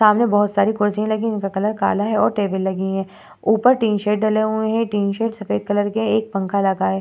सामने बहुत सारी कुर्सियां लगी है जिनका कलर काला है और टेबल लगी है ऊपर टिन शेड डले हुए हैं टिन शेड सफेद कलर के है एक पंखा लगा है।